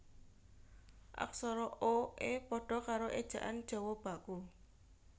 Aksara o e pada karo Ejaan Jawa Baku